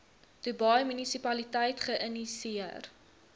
dubai munisipaliteit geïnisieer